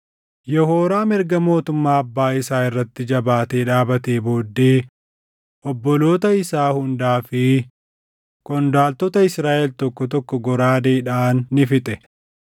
Yehooraam erga mootummaa abbaa isaa irratti jabaatee dhaabatee booddee obboloota isaa hundaa fi qondaaltota Israaʼel tokko tokko goraadeedhaan ni fixe.